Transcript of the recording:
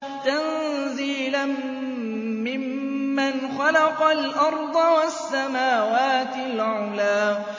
تَنزِيلًا مِّمَّنْ خَلَقَ الْأَرْضَ وَالسَّمَاوَاتِ الْعُلَى